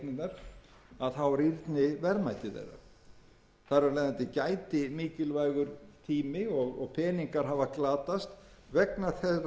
að ráðstafanir séu gerðar til þess að tryggja eignirnar rýrni verðmæti þeirra þar af leiðandi gæti mikilvægur tími og peningar hafa glatast vegna þeirrar glapræðisferðar sem íslensk stjórnvöld hafa